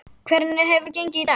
Hvernig hefur gengið í dag?